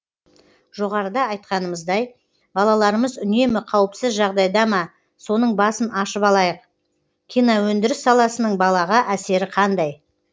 жоғарыда айтқанымыздай балаларымыз үнемі қауіпсіз жағдайда ма соның басын ашып алайық киноөндіріс саласының балаға әсері қандай